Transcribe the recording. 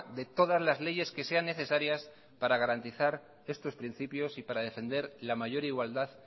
de todas las leyes que sean necesarias para garantizar estos principios y para defender la mayor igualdad